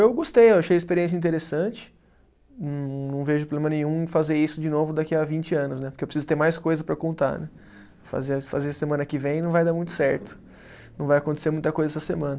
Eu gostei, eu achei a experiência interessante, não vejo problema nenhum em fazer isso de novo daqui a vinte anos né, porque eu preciso ter mais coisas para contar né, fazer a fazer semana que vem não vai dar muito certo, não vai acontecer muita coisa essa semana.